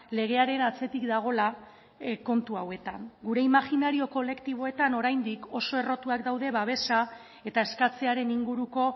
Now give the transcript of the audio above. legearen atzetik dagoela kontu hauetan gure imajinario kolektiboetan oraindik oso errotuak daude babesa eta eskatzearen inguruko